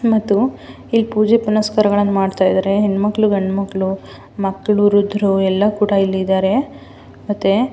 ಮತ್ತು ಇಲಿ ಪೂಜೆ ಪುನಸ್ಕಾರಗಳನ್ನು ಮಾಡ್ತಾ ಇದ್ದಾರೆ ಹೆಣ್ ಮಕ್ಕಳು ಗಂಡ್ ಮಕ್ಕಳು ವೃದ್ದರು ಎಲ್ಲರೂ ಕೂಡ ಇಲ್ಲಿ ಇದ್ದಾರೆ --